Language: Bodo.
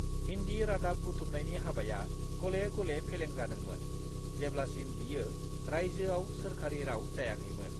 हिन्दी रादाब बुथुमनायनि हाबाया गले-गले फेलें जादोंमोन, जेब्लासिम बेयो रायजोआव सोरखारि राव जायाखैमोन।